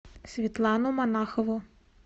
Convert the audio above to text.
светлану монахову